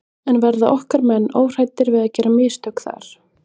En verða okkar menn óhræddir við að gera mistök þar?